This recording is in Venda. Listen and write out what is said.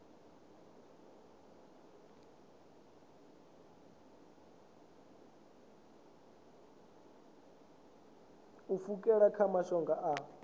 u pfukela kha mashango a